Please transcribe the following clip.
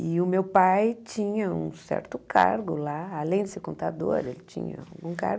E o meu pai tinha um certo cargo lá, além de ser contador, ele tinha um cargo.